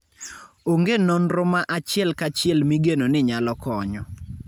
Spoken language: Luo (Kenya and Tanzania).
Onge nonro ma achiel kachiel migeno ni nyalo konyo.